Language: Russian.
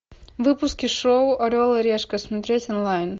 выпуски шоу орел и решка смотреть онлайн